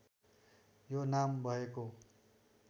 यो नाम भएको